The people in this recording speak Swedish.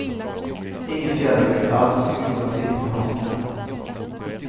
Ingen fjärreffekt alls, myggorna sitter på handsken.